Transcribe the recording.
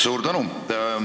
Suur tänu!